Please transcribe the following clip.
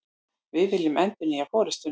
Við viljum endurnýja forustuna